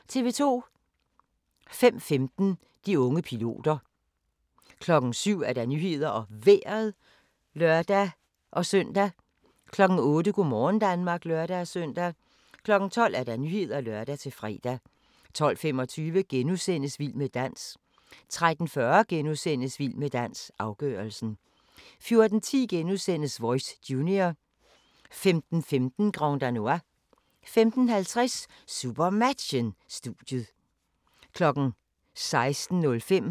05:15: De unge piloter 07:00: Nyhederne og Vejret (lør-søn) 08:00: Go' morgen Danmark (lør-søn) 12:00: Nyhederne (lør-fre) 12:25: Vild med dans * 13:40: Vild med dans - afgørelsen * 14:10: Voice Junior * 15:15: Grand Danois 15:50: SuperMatchen: Studiet 16:05: SuperMatchen: GOG – KIF Kolding-København (m), direkte